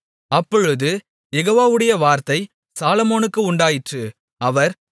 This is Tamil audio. அப்பொழுது யெகோவாவுடைய வார்த்தை சாலொமோனுக்கு உண்டாயிற்று அவர்